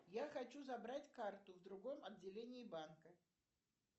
я хочу забрать карту в другом отделении банка